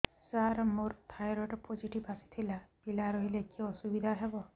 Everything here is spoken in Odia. ସାର ମୋର ଥାଇରଏଡ଼ ପୋଜିଟିଭ ଆସିଥିଲା ପିଲା ରହିଲେ କି ଅସୁବିଧା ହେବ